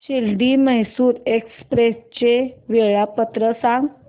Shirdi Mysore express चे वेळापत्रक सांग